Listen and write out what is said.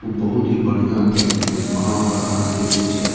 उ बहुत ही बढ़िया कैफे ये वहाँ पर आहां के जे छै --